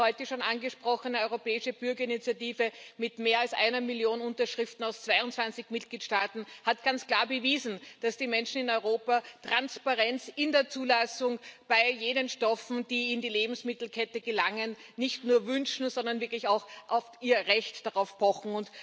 Die heute schon angesprochene europäische Bürgerinitiative mit mehr als einer Million Unterschriften aus 22 Mitgliedstaaten hat ganz klar bewiesen, dass die Menschen in Europa Transparenz in der Zulassung bei jenen Stoffen, die in die Lebensmittelkette gelangen, nicht nur wünschen, sondern wirklich auch auf ihr Recht darauf pochen.